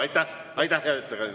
Aitäh, hea ettekandja!